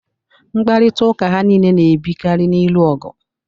Mkparịtaụka ha niile na-ebikari n'ilu ọgụ.